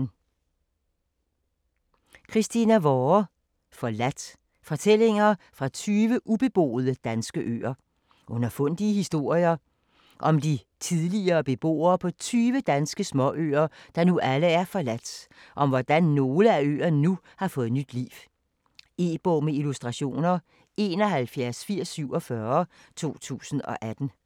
Vorre, Christina: Forladt: fortællinger fra 20 ubeboede danske øer Underfundige historier om de tidligere beboere på tyve danske småøer, der nu alle er forladt, og om hvordan nogle af øerne nu har fået nyt liv. E-bog med illustrationer 718047 2018.